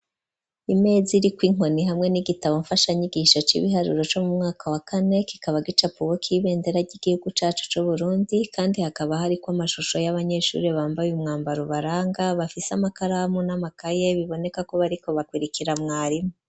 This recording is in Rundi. Imeza iriko inkoni hamwe n'igitabo mfashanyigisho c'ibiharuro co mu mwaka wa kane, kikaba gicapuweko ibendera ry'igihugu cacu c'Uburundi kandi hakaba hariko amashusho y'abanyeshuri bambaye umwambaro ubaranga, bafise amakaramu n'amakaye biboneka ko bariko bakurikira mwarimu.